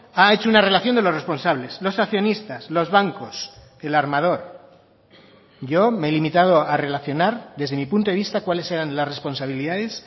ha hecho una relación de los responsables los accionistas los bancos el armador yo me he limitado a relacionar desde mi punto de vista cuáles eran las responsabilidades